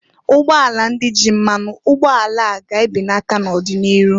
Ugbọala ndị ji mmanụ ụgboala a ga ga ebenata n'ọdị n'iru.